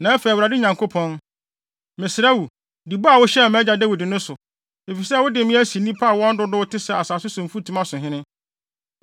Na afei Awurade Nyankopɔn, mesrɛ wo di bɔ a wohyɛɛ mʼagya Dawid no so, efisɛ wode me asi nnipa a wɔn dodow te sɛ asase so mfutuma so hene.